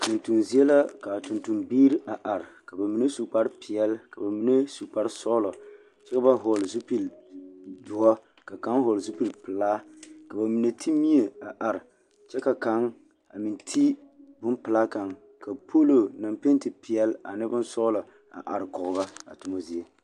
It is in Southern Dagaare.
Tontoŋ zie la ka a tontombiiri a are ba mine su kparpeɛl ka ba mine meŋ su kparsɔɔlɔ kyɛ ka hɔɔl zupilidoɔ ka kaŋ meŋ hɔɔle zupilipelaa ka ba mine te mie a are kyɛ ka kaŋ a meŋ te bompelaa kaŋ poolo naŋ pente peɛl ane sɔɔlɔ la arekɔɡe ba a toma zie.